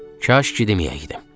Kaş ki deməyəydim.